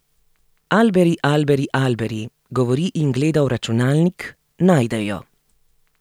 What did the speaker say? Alberi, alberi, alberi, govori in gleda v računalnik, najde jo.